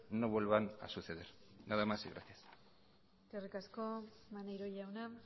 no vuelvan a suceder nada más y gracias eskerrik asko maneiro jauna